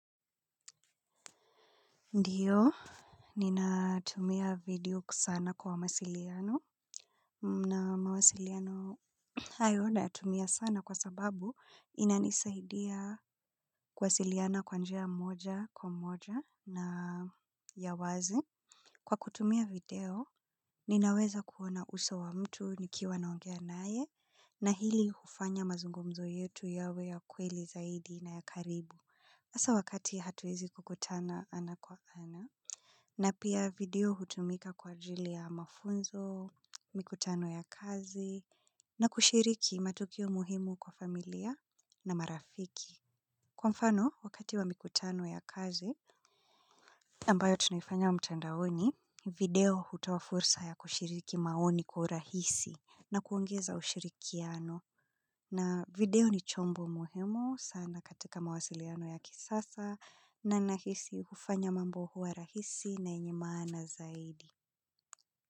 Ndiyo, ninatumia video kusana kwa mawasiliano na mawasiliano hayo nayatumia sana kwa sababu inanisaidia kuwasiliana kwa njia moja kwa moja na ya wazi. Kwa kutumia video, ninaweza kuona uso wa mtu nikiwa naongea naye na hili hufanya mazungumzo yetu yawe ya kweli zaidi na ya karibu. Hasa wakati hatuwezi kukutana ana kwa ana, na pia video hutumika kwa ajili ya mafunzo, mikutano ya kazi, na kushiriki matukio muhimu kwa familia na marafiki. Kwa mfano, wakati wa mikutano ya kazi, ambayo tunaifanya mtandaoni, video hutoa fursa ya kushiriki maoni kwa urahisi na kuongeza ushirikiano. Na video ni chombo muhimu sana katika mawasiliano ya kisasa na nahisi hufanya mambo huwa rahisi na yenye maana zaidi.